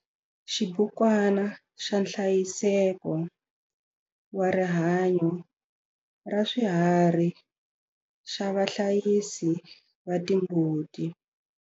Xibukwana xa nhlayiseko wa rihanyo ra swiharhi xa vahlayisi va timbuti.